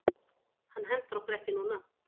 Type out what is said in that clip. Hann hentar okkur ekki núna.